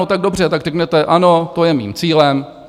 No tak dobře, tak řekněte ano, to je mým cílem.